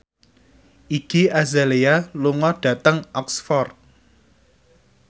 Iggy Azalea lunga dhateng Oxford